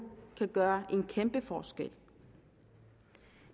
kan gøre en kæmpe forskel